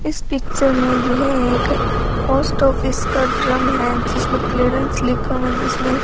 इस पिक्चर में यह एक पोस्ट ऑफिस का ड्रम है जिसमें क्लीयरेंस लिखा हुआ है जिसमें --